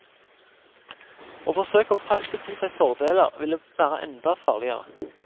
Å forsøke å presse til seg fordeler, ville være enda farligere.